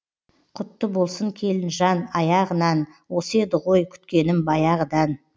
құтты болсын келінжан аяғынан осы еді ғой күткенім баяғыдан